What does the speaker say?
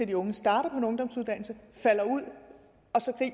de unge starter på en ungdomsuddannelse falder ud